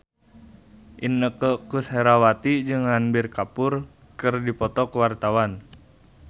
Inneke Koesherawati jeung Ranbir Kapoor keur dipoto ku wartawan